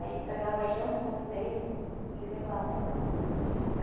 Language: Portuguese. Aí ele pegava junto com os dele e levava para lá.